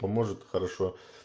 поможет хорошо